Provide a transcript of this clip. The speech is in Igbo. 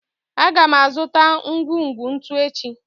A ga m azụta ngwugwu ntu echi